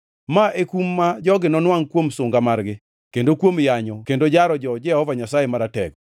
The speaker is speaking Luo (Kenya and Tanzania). Ma e kum ma jogi nonwangʼ kuom sunga margi, kendo kuom yanyo kendo jaro jo-Jehova Nyasaye Maratego.